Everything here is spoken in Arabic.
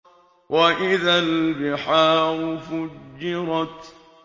وَإِذَا الْبِحَارُ فُجِّرَتْ